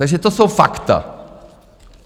Takže to jsou fakta.